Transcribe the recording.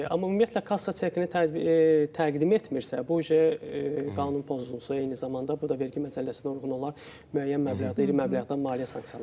Amma ümumiyyətlə kassa çekini təqdim etmirsə, bu qanun pozuntusu, eyni zamanda bu da vergi məcəlləsinə uyğun olaraq müəyyən məbləğdə, iri məbləğdə maliyyə sanksiyalarıdır.